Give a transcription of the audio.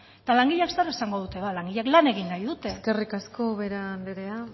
eta langileak zer esango dute langileak la egin nahi dute eskerrik asko ubera andrea